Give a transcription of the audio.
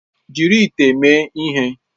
Jiri ite a mee ihe!